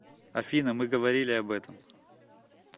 афина мы говорили об этом